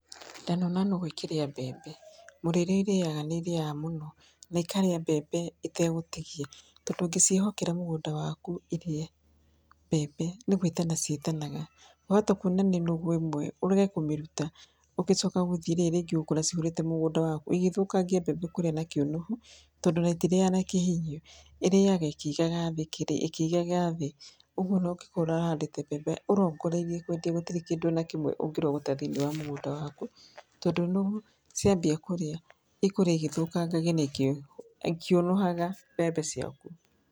Ndanona nũgũ ĩkĩrĩa mbembe, mũrĩre irĩyaga nĩ irĩyaga mũno, na ĩkaria mbembe ĩtegũtigia, tondũ ũngĩciĩhokera mũgũnda waku irie mbembe, nĩ gwĩtana cĩtanaga, wahota kuona nĩ nũgũ ĩmwe, ũrege kũmĩruta, ũgĩcoka gũthiĩ rĩrĩ rĩngĩ ũgũkora cihũrĩte mũgũnda waku, igĩthokangia mbembe kũrĩa na kĩũnũhu, tondũ ona itirĩyaga na kĩhinyio, ĩrĩyaga ĩkĩigaga thĩ kĩrĩa ĩkĩigaga thĩ. ũguo ona ũngĩkorwo ũrahandĩte mbembe ũrongoreirie kwendia, gũtirĩ kĩndũ ona kĩmwe ũngĩrogota thĩinĩ wa mũgũnda waku, tondũ nũgũ ciambia kũrĩa, ikũrĩa igĩthũkangagia na ikĩũnũhaga mbembe ciaku.